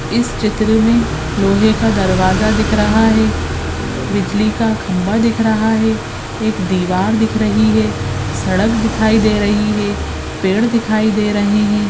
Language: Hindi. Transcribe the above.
इस चित्र मे लोहे का दरवाजा दिख रहा है बिजली का खंभा दिख रहा है एक दीवार दिख रही है सड़क दिखाई ड़े रही है पेड़ दिखाई दे रहे है।